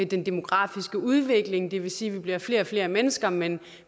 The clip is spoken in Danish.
den demografiske udvikling det vil sige at vi bliver flere og flere mennesker men